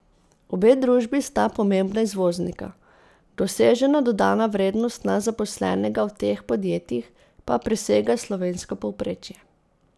Obe družbi sta pomembna izvoznika, dosežena dodana vrednost na zaposlenega v teh podjetjih pa presega slovensko povprečje.